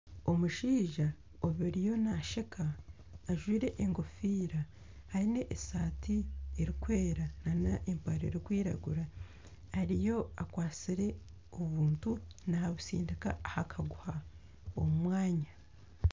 Omushaija oriyo nasheka ajwire engofiira aine esati erikwera nana empare erikwiragura ariyo akwatsire obuntu nabutsindika aha kaguha omu mwanya.